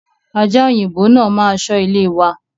Aja òyìnbó náà ma ṣọ ilé wa